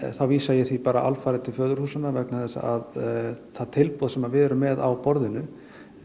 þá vísa ég því bara alfarið til föðurhúsanna vegna þess að það tilboð sem við erum með á borðinu